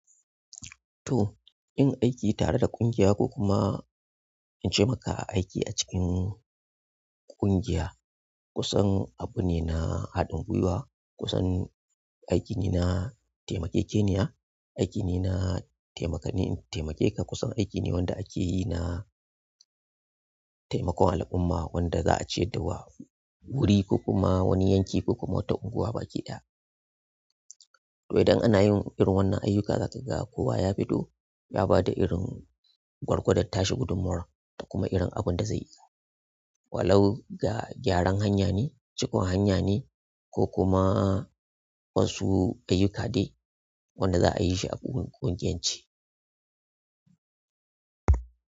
To, yin aiki tare da ƙungiya ko kuma in taimaka a aiki a cikin ƙungiya kusan abu ne na haɗin guiwa, kusan aikine na taimakekeniya, aikine na taimakeni in taimake ka, kusan aiki ne da ake yi na taimakon al'umma wanda za a ce da wa, wuri ko kuma wani yanki ko kuma wata unguwa baki ɗaya. Saboda idan ana yin irin wannan ayyukan zaka ga kowa ya fito ya bada irin gwargwadon ta shi gudummawa da kuma irin abin da zai yi, wa lau ga gyaran hanya ne, cikon hanya ne, ko kuma wasu ayyuka dai wanda za a yi shi a ƙungiyance.